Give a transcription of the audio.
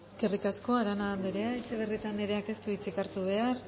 eskerrik asko arana andrea etxebarrieta andreak ez du hitzik hartu behar